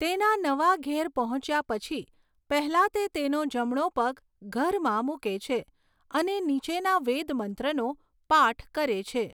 તેના નવા ઘેર પહોંચ્યા પછી, પહેલાં તે તેનો જમણો પગ ઘરમાં મૂકે છે અને નીચેના વેદ મંત્રનો પાઠ કરે છે.